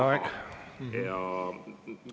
Teie aeg!